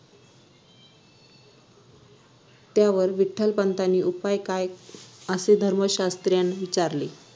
त्यावर विठ्ठलपंतांनी उपाय काय असे धर्मशास्त्रींना विचारले